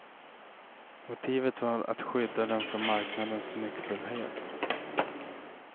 Motivet var att skydda den från marknadens nyckfullhet.